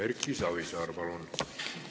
Erki Savisaar, palun!